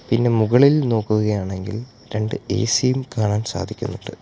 ഇതിന് മുകളിൽ നോക്കുകയാണെങ്കിൽ രണ്ട് എ_സി ഉം കാണാൻ സാധിക്കുന്നുണ്ട്.